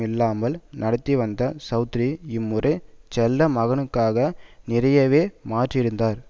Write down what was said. இல்லாமல் நடத்திவந்த சௌத்ரி இம்முறை செல்ல மகனுக்காக நிறையவே மாறியிருந்தார்